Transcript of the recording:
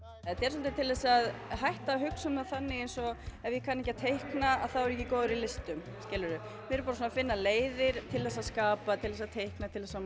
þetta er svolítið til þess að hætta að hugsa um það þannig eins og ef ég kann ekki á teikna þá er ég ekki góður í listum skilurðu við erum bara að finna leiðir til þess að skapa til þess að teikna til þess að